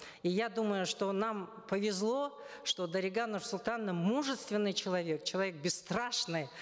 и я думаю что нам повезло что дарига нурсултановна мужественный человек человек бесстрашный